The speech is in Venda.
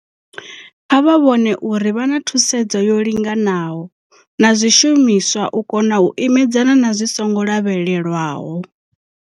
Kha vha vhone uri vha na thusedzo yo linganaho na zwishumiswa u kona u imedzana na zwi songo lavhelelwaho.